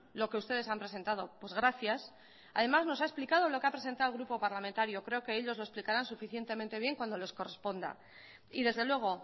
lo que ustedes han presentado pues gracias además nos ha explicado lo que ha presentado el grupo parlamentario creo que ellos lo explicarán suficientemente bien cuando les corresponda y desde luego